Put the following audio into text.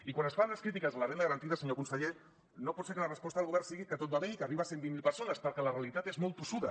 i quan es fan les crítiques a la renda garantida senyor conseller no pot ser que la resposta del govern sigui que tot va bé i que arriba a cent i vint miler persones perquè la realitat és molt tossuda